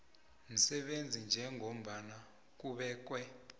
msebenzi njengombana kubekwe